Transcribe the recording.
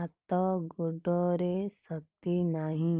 ହାତ ଗୋଡ଼ରେ ଶକ୍ତି ନାହିଁ